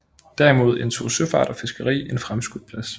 Derimod indtog søfart og fiskeri en fremskudt plads